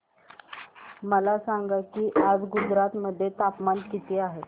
मला सांगा की आज गुजरात मध्ये तापमान किता आहे